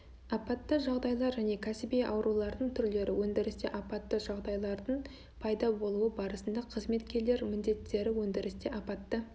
апатты жағдайлар және кәсіби аурулардың түрлері өндірісте апатты жағдайдардың пайда болуы барысында қызметкерлер міндеттері өндірісте апатты